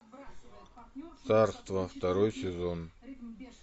царство второй сезон